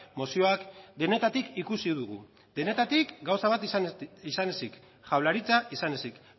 mozioak denetatik ikusi dugu denetatik gauza bat izan ezik jaurlaritza izan ezik